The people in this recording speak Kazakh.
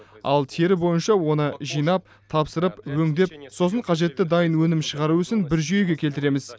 ал тері бойынша оны жинап тапсырып өңдеп сосын қажетті дайын өнім шығару ісін бір жүйеге келтіреміз